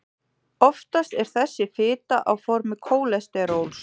oftast er þessi fita á formi kólesteróls